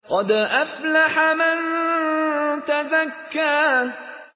قَدْ أَفْلَحَ مَن تَزَكَّىٰ